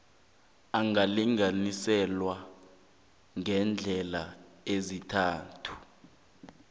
angalinganiselwa ngeendlela ezintathu